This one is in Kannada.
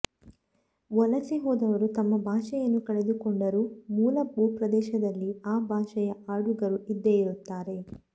ವಲಸೆ ಹೋದವರು ತಮ್ಮ ಭಾಷೆಯನ್ನು ಕಳೆದುಕೊಂಡರೂ ಮೂಲ ಭೂಪ್ರದೇಶದಲ್ಲಿ ಆ ಭಾಷೆಯ ಆಡುಗರು ಇದ್ದೇ ಇರುತ್ತಾರೆ